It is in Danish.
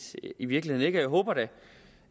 i virkeligheden ikke jeg håber da